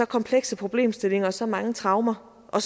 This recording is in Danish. komplekse problemstillinger og så mange traumer og